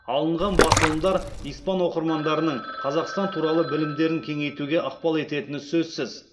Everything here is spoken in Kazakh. алынған басылымдар испан оқырмандарының қазақстан туралы білімдерін кеңейтуге ықпал ететіні сөзсіз